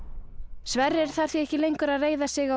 Sverrir þarf því ekki lengur að reiða sig á